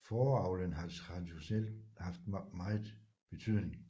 Fåreavlen har traditionelt haft megen betydning